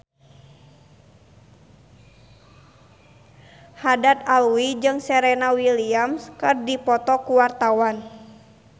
Haddad Alwi jeung Serena Williams keur dipoto ku wartawan